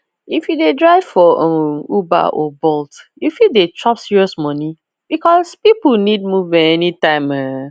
if you dey drive for um uber or bolt you fit dey chop serious money because people need movement anytime um